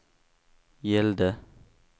gällde